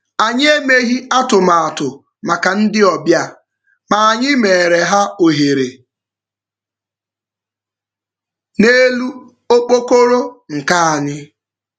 Anyi emeghị atụmatụ maka ndị obịa, ma anyị meere ha ohere n'elu okpokoro nka anyị